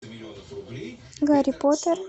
гарри поттер